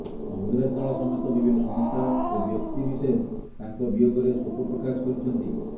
କଂଗ୍ରେସ ଦଳ ସମେତ ବିଭିନ୍ନ ଅନୁଷ୍ଠାନ ଓ ବ୍ୟକ୍ତି ବିଶେଷ ତାଙ୍କ ବିୟୋଗରେ ଶୋକ ପ୍ରକାଶ କରିଛନ୍ତି